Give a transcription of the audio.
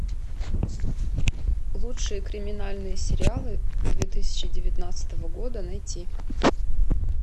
лучшие криминальные сериалы две тысячи девятнадцатого года найти